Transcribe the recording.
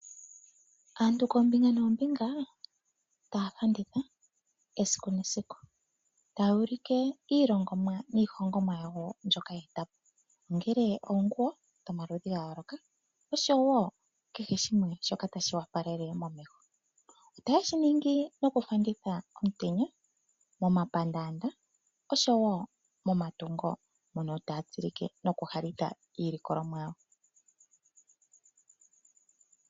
Aantu koombinga noombinga taya fanditha esiku nesiku taya ulike iilongomwa niihonhomwa yawo mbyoka ye eta po, ongele oonguwo dhomaludhi ga yooloka osho wo kehe shimwe shoka tashi opalele momeho. Otaye shi ningi nokufanditha omutenya momapandaanda nosho wo momatungo mono taya tsilike nokuhalitha iilikolomwa yawo.